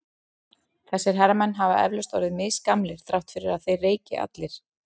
Þessir herramenn hafa eflaust orðið misgamlir þrátt fyrir að þeir reyki allir.